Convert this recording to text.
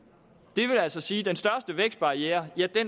det vil altså sige at den største vækstbarriere